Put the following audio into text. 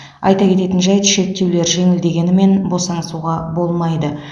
айта кететін жайт шектеулер жеңілдегенімен босансуға болмайды